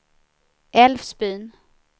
Älvsbyn